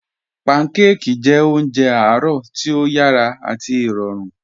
Pànḳàkí jẹ̀ ọ̀njẹ̀ àárọ̀ tí o yàrá àti ìròrùn